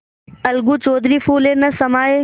अलगू चौधरी फूले न समाये